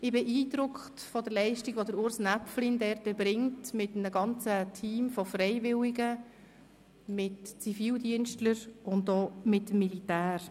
Ich bin beeindruckt von der Leistung, die Urs Näpflin dort erbringt, mit einem ganzen Team von Freiwilligen, mit Zivilschützern und mit dem Militär.